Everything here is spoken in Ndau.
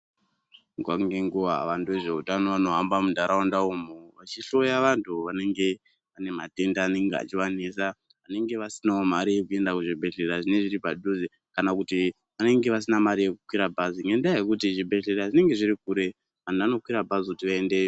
Nguwa ngenguwa wandu wezveutani wanohamba mundaraunda umu vechihloya vandu vanenge veyi nematenda anenge echivanetsa vanenge vasinawo mare yekuenda kuzvibhedhleya zvinenge zviri padhuze kana kuti vanenge vasina mari yekukwire bhazi ngendaa yokuti zvibhedhleya zvinenge zviri kure vandu vanokwira bhazi kuti vaendeyo.